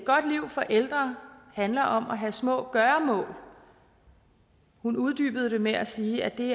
godt liv for ældre handler om at have små gøremål hun uddybede det med at sige at det